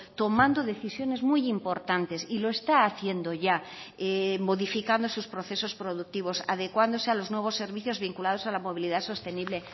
tomando decisiones muy importantes y lo está haciendo ya modificando sus procesos productivos adecuándose a los nuevos servicios vinculados a la movilidad sostenible